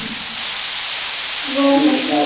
Svo hló hún.